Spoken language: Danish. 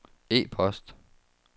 e-post